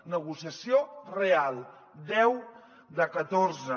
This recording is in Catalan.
negociació real deu de catorze